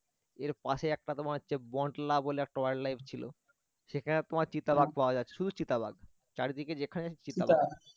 এরপাশে একটা তোমার হচ্ছে বলে একটা wild life ছিল সেখানে তোমার চিতা বাঘ পাওয়া যায় শুধু চিতা বাঘ চারিদিকে যেখানে চিতা বাঘ